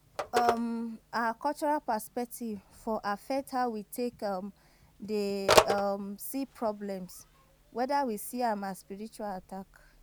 um Our cultural perspective for affect how we take um dey um see problem, weda we see am as spiritual attack